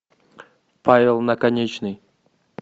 павел наконечный